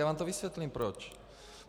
Já vám to vysvětlím, proč.